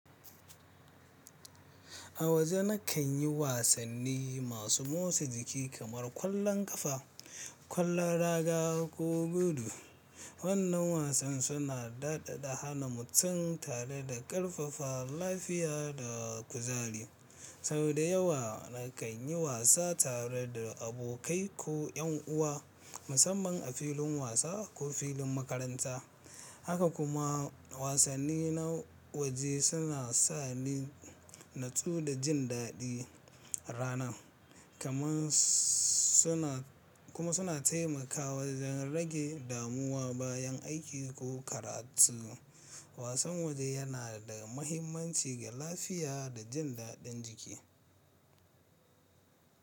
A waje na kan yi wasanni masu motsa jiki kamar ƙwallon ƙafa, ƙwallon raga ko gudu. Wannan wasan suna daɗaɗa hana mutum tare da ƙarfafa lafiya da kuzari. Sau da yawa na kan yi wasa tare da abokai ko 'yan uwa, musamman a filin wasa ko filin makaranta. Haka kuma wasanni na waje suna sa ni natsu da jin daɗi ranan, kuma suna taimakawa wajen rage damuwa bayan aiki ko karatu. Wasan waje yana da mahimmanci ga lafiya da jin daɗin jiki.